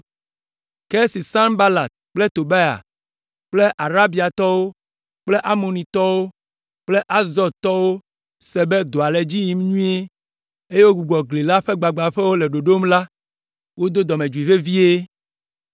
Ke esi Sanbalat kple Tobia kple Arabiatɔwo kple Amonitɔwo kple Asdodtɔwo se be dɔa le edzi yim nyuie, eye wogbugbɔ gli la ƒe gbagbãƒewo le ɖoɖom la, wodo dɔmedzoe vevie.